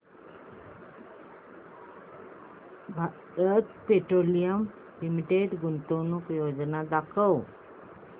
Bharat petroleum limited गुंतवणूक योजना दाखव